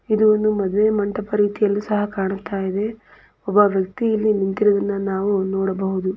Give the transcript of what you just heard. ಇದು ಒಂದು ಮಾಡುವೆ ಮಂಟಪದ ರೀತಿಯಲ್ಲಿ ಸಹ ಕಾಣುತ್ತ ಇದೆ ಒಬ್ಬ ವ್ಯಕ್ತಿ ಇಲ್ಲಿ ನಿಂತಿರುವುದನ್ನ ನಾವು ಇಲ್ಲಿ ನೋಡಬಹುದು.